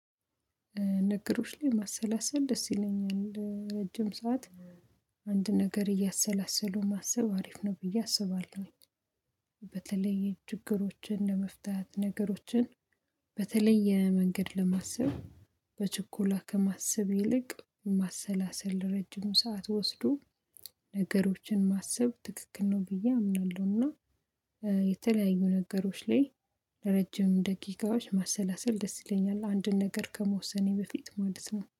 ነገሮች ላይ ማሰላሰል ደስ ይለኛል ረጅም ሰዓት አንድ ነገር እያሰላሰሉ ማሰብ አሪፍ ነው ብዬ አስባለሁኝ። በተለይ ችግሮችን ለመፍታት ነገሮችን በተለየ መንገድ ለማሰብ በችኮላ ከማሰብ ይልቅ ማሰላሰል ረጅም ሰዓት ወስዶ ነገሮችን ማሰብ ትክክል ነው ብዬ አምናለሁና። የተለያዩ ነገሮች ላይ ለረጅም ደቂቃዎች ማሰላሰል ደስ ይለኛል አንድን ነገር ከመወሰኔ በፊት ማለት ነው